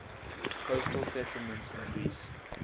coastal settlements in greece